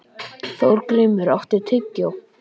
Þorgrímur, áttu tyggjó?